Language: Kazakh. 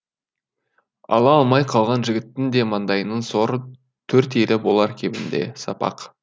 ала алмай қалған жігіттің де маңдайының соры төрт елі болар кемінде сапақ